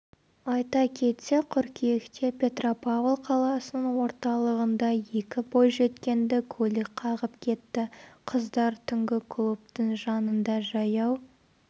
айта кетсек қыркүйекте петропавл қаласының орталығында екі бойжеткенді көлік қағып кетті қыздар түнгі клубтың жанында жаяу